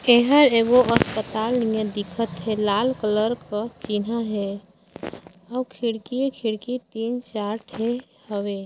एह एगो अस्पताल दिखत हे लाल कलर क चिन्हा हे और खिड़की हे खिड़की तीन चार ठ हवे।